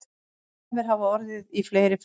Tafir hafa orðið í fleiri ferðum